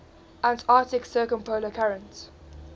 antarctic circumpolar current